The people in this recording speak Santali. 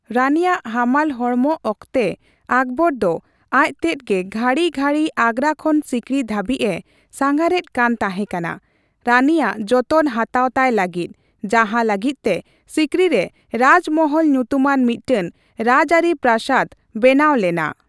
ᱨᱟᱹᱱᱤᱭᱟᱜ ᱦᱟᱢᱟᱞ ᱦᱚᱲᱢᱚᱠ ᱚᱠᱛᱮ ᱟᱠᱵᱚᱨ ᱫᱚ ᱟᱡᱛᱮᱛ ᱜᱮ ᱜᱷᱟᱹᱲᱤ ᱜᱷᱟᱹᱲᱤ ᱟᱸᱜᱽᱨᱟ ᱠᱷᱚᱱ ᱥᱤᱠᱨᱤ ᱫᱷᱟᱹᱵᱤᱪᱼᱮ ᱥᱟᱸᱜᱷᱟᱨᱮᱛ ᱠᱟᱱ ᱛᱟᱦᱮᱠᱟᱱᱟ ᱨᱟᱹᱱᱤᱭᱟᱜ ᱡᱚᱛᱚᱱ ᱦᱟᱛᱟᱣ ᱛᱟᱭ ᱞᱟᱹᱜᱤᱛ, ᱡᱟᱦᱟ ᱞᱟᱹᱜᱤᱛ ᱛᱮ ᱥᱤᱠᱨᱤ ᱨᱮ ᱨᱟᱡ ᱢᱚᱦᱚᱞ ᱧᱩᱛᱩᱢᱟᱱ ᱢᱤᱴᱴᱮᱱ ᱨᱟᱡᱟᱹᱨᱤ ᱯᱨᱟᱥᱟᱫ ᱵᱮᱱᱟᱣ ᱞᱮᱱᱟ ᱾